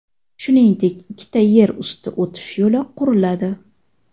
Shuningdek, ikkita yer usti o‘tish yo‘li quriladi.